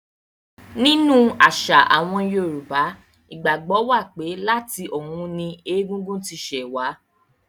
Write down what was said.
Nínú àṣà àwọn Yorùbá, ìgbàgbọ́ wà pé láti ọ̀run ni Ègún ún ti ṣẹ̀ wá.